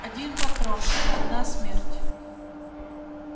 один патрон одна смерть